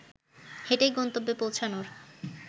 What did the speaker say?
হেঁটেই গন্তব্যে পৌঁছানোর